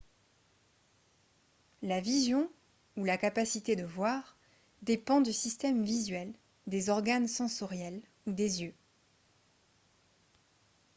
la vision ou la capacité de voir dépend du système visuel des organes sensoriels ou des yeux